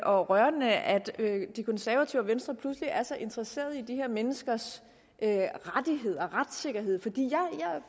og rørende at de konservative og venstre pludselig er så interesseret i de her menneskers rettigheder og retssikkerhed for